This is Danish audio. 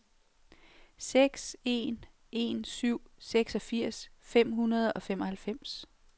seks en en syv seksogfirs fem hundrede og femoghalvfems